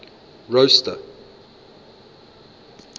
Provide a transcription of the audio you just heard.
rosta